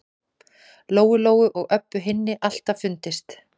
Lóu-Lóu og Öbbu hinni alltaf fundist.